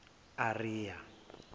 ariya